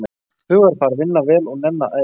Hugarfar, vinna vel og nenna að æfa.